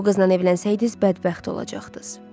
Siz o qızla evlənsəydiz, bədbəxt olacaqdız.